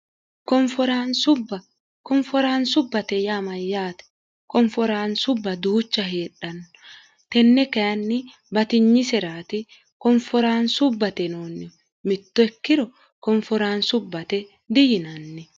bbkonforaansubbate yaamayyaate konforaansubba duucha heedhanno tenne kainni batinyisiraati konforaansubbate noonni mittokkiro konforaansubbate diyinanni